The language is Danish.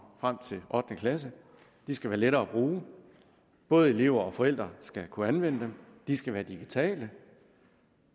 frem til ottende klasse de skal være lettere at bruge både elever og forældre skal kunne anvende dem de skal være digitale